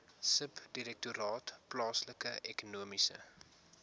subdirektoraat plaaslike ekonomiese